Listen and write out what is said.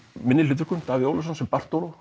minni hlutverkum er Davíð Ólafsson sem